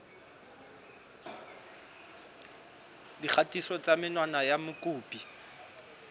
dikgatiso tsa menwana ya mokopi